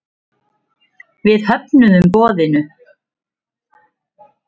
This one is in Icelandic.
Við höfnuðum boðinu.